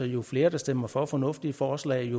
jo flere der stemmer for fornuftige forslag